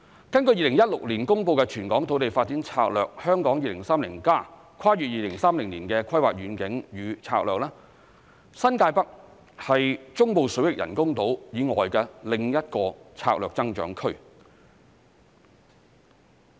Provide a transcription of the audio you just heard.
根據2016年公布的全港土地發展策略《香港 2030+： 跨越2030年的規劃遠景與策略》，新界北部是中部水域人工島以外的另一個策略增長區。